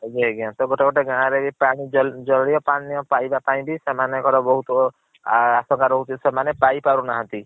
ଆଜ୍ଞା ଆଜ୍ଞା ଗୋଟେ ଗୋଟେ ଗାଁ ରେ ଜାଲିଅ ପାନିୟ ପାଇବା ପାଇଁ ବି ସେମନକଂ ର ବହୁତ୍ ଆପକର ହଉଛି ସେମାନେ ପାଇ ପାରୁ ନାହାନ୍ତି।